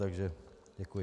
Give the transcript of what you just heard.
Takže děkuji.